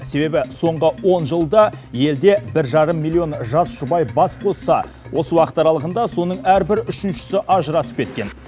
себебі соңғы он жылда елде бір жарым миллион жас жұбай бас қосса осы уақыт аралығында соның әрбір үшіншісі ажырасып кеткен